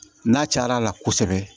N'a car'a la kosɛbɛ